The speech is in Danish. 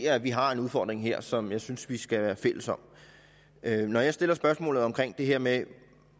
at vi har en udfordring her som jeg synes vi skal være fælles om når jeg stiller spørgsmålet omkring det her med